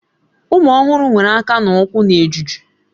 Ụmụ ọhụrụ nwere aka na ụkwụ na-eju eju